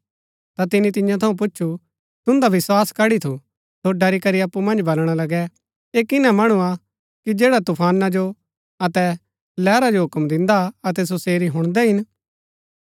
ता तिनी तियां थऊँ पुछु तुन्दा विस्वास कड्ड़ी थु सो ड़री करी अप्पु मन्ज बलणा लगै ऐह किना मणु हा कि जैडा तूफाना जो अतै लैहरा जो हुक्म दिन्दा अतै सो सेरी हुणदै हिन